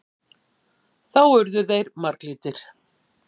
Þá urðu þeir marglitir.